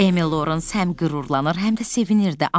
Emil Lorens həm qürurlanır, həm də sevinirdi.